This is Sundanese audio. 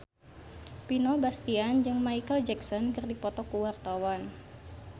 Vino Bastian jeung Micheal Jackson keur dipoto ku wartawan